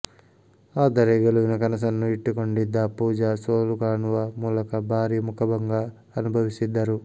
ಆದರೆ ಗೆಲುವಿನ ಕನಸನ್ನು ಇಟ್ಟುಕೊಂಡಿದ್ದ ಪೂಜಾ ಸೋಲುಕಾಣುವ ಮೂಲಕ ಭಾರಿ ಮುಖಭಂಗ ಅನುಭವಿಸಿದ್ದರು